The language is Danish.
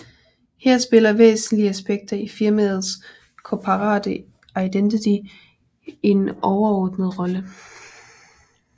Her spiller væsentlige aspekter i firmaets Corporate Identity en overordnet rolle